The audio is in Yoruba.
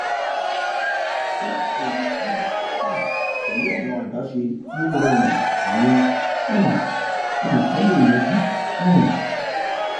fun eyi ti um pẹlu awọn adaṣe ti o rọrun awọn um nkan le yanju um